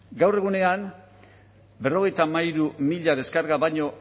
gaur egunean berrogeita hamairu mila deskarga baino